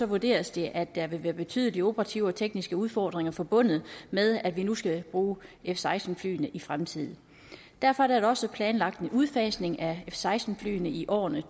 vurderes det at der vil være betydelige operative og tekniske udfordringer forbundet med at vi nu skal bruge f seksten flyene i fremtiden derfor er der da også planlagt en udfasning af seksten flyene i årene